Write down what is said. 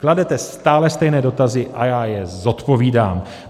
Kladete stále stejné dotazy a já je zodpovídám.